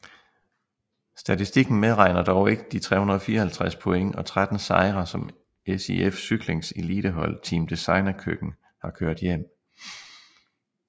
Statistiken medregner dog ikke de 354 point og 13 sejre som SIF Cyklings elitehold Team Designa Køkken her kørt hjem